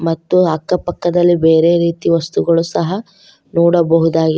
ಮತ್ತು ಅಕ್ಕಪಕ್ಕದಲ್ಲಿ ಬೇರೆ ರೀತಿಯ ವಸ್ತುಗಳು ಸಹ ನೋಡಬಹುದಾಗಿ --